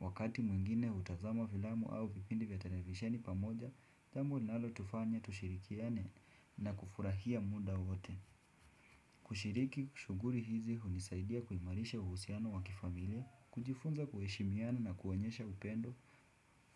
Wakati mwingine utazama filamu au vipindi vya televisheni pamoja, tamo inalo tufanya tushirikiane na kufurahia muda wote. Kushiriki shuguri hizi hunisaidia kuimarisha uhusiano wakifamilia, kujifunza kueshimiana na kuonyesha upendo.